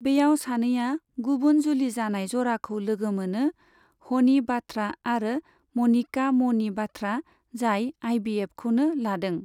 बैयाव सानैया गुबुन जुलि जानाय जराखौ लोगो मोनो, हनि बाथ्रा आरो मनिका म'नि बाथ्रा, जाय आइभिएफखौनो लादों।